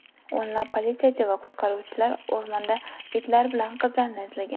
O‘nlab politsiyachi va qutqaruvchilar o‘rmonda itlar bilan qizlarni izlagan.